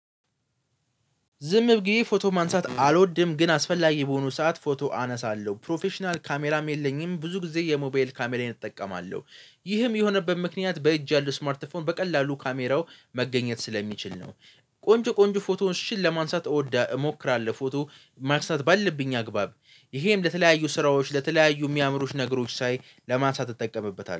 ዝም ብዬ ፎቶ ማንሳት አልወድም። ግን አስፈላጊ በሆኑ ሰዓት ፎቶ አነሳለሁ ፕሮፌሽናል ካሜራም የለኝም። ብዙ ጊዜ የሞባይል ካሜራዬን እጠቀማለሁ። ይህም የሆነበት ምክንያት በእጅ ያለው ስማርተፎን በቀላሉ ካሜራው መገኘት ስለሚችል ነው። ቆንጆ ቆንጆ ፍቶንሽል ለማንሳት እወዳ እሞክራለሁ። ፎቶ ማንሳት ባለብኝ አግባብ ይሄም ለተለያዩ ስራዎች ለተለያዩ የሚያምሩሽ ነገሮች ሳይ ለማንሳት እጠቀምበታለሁ።